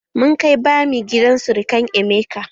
Mun kai bami gidan surukan emeka.